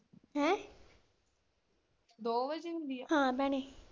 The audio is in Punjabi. ਹੈਂ ਦੋ ਵਜੇ ਹੁੰਦੀ ਆ, ਹਾਂ ਭੈਣੇ।